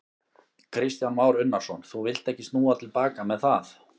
Kristján Már Unnarsson: Þú villt ekki snúa til baka með það?